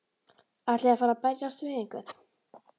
Ætlið þið að fara að berjast við einhverja?